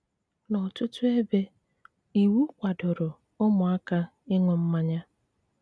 N'ọtụtụ ebe, iwu kwadoro ụmụaka ịṅụ mmanya.